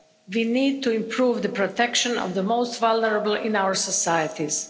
We need to improve the protection of the most vulnerable in our societies.